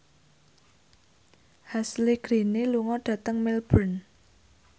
Ashley Greene lunga dhateng Melbourne